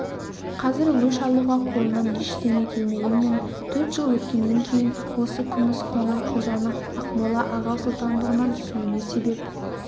қазір өш алуға қолынан ештеңе келмегенмен төрт жыл өткеннен кейін осы күміс қоңырқұлжаның ақмола аға сұлтандығынан түсуіне себеп